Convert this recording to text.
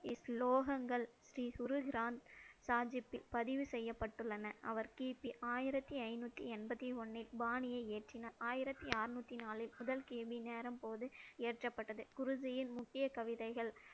ஸ்லோகங்கள் ஸ்ரீ குரு கிரந்த சாஹிப்பில் பதிவு செய்யப்பட்டுள்ளன. அவர் கிபி ஆயிரத்தி ஐநூத்தி எண்பத்தி ஒண்ணில் பாணியை ஏற்றினார். ஆயிரத்தி அறுநூத்தி நாளில் முதல் கேள்வி நேரம் போது ஏற்றப்பட்டது. குருஜியின் முக்கிய கவிதைகள்,